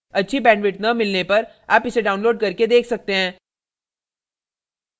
अच्छी bandwidth न मिलने पर आप इसे download करके देख सकते हैं